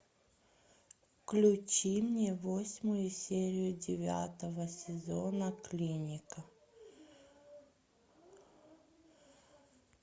включи мне восьмую серию девятого сезона клиника